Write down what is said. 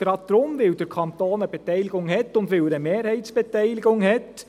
Gerade deshalb, weil der Kanton eine Beteiligung hat und weil er eine Mehrheitsbeteiligung hat.